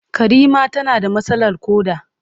Karima tana da matsalar koda.